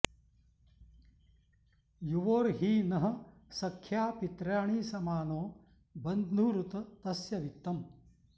यु॒वोर्हि नः॑ स॒ख्या पित्र्या॑णि समा॒नो बन्धु॑रु॒त तस्य॑ वित्तम्